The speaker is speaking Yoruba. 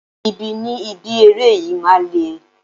Ibi ni ibi eré yìí máa le.